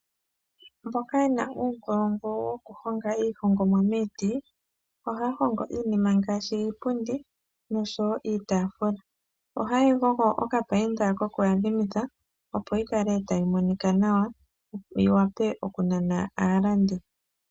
Mboka ye na uunkulungu wokuhonga iihongomwa miiti ohaya hongo iinima ngaashi iipundi nosho wo iitaafula. Ohaye yi gogo okapayinda koku yadhimitha opo yi kale tayi monika nawa yi wape oku nana aalandi.